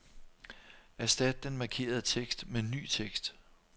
Erstat den markerede tekst med ny tekst.